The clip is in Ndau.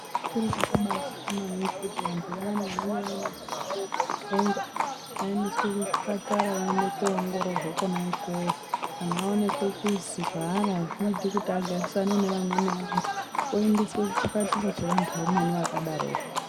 Chiro chakabazwika maningi kuti vantu vayani vanenge vaine zvirwere zvepfungwa vaendesee kuchipatara vaende kuongororwa Kona ikweyo kana vaonekwe kuzi zvaavari azviiti kuti agarisane nevamwe vantu oondeswe kuchipatara chevantu vamweni zvakadaroko.